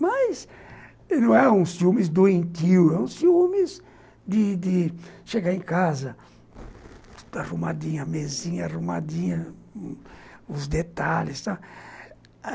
Mas não eram os ciúmes doentio, eram os ciúmes de de chegar em casa, tudo arrumadinho, a mesinha arrumadinha, os detalhes.